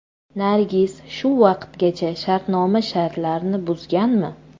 Nargiz shu vaqtgacha shartnoma shartlarini buzganmi?